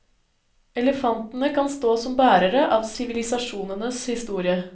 Elefantene kan stå som bærere av sivilisasjonenes historie.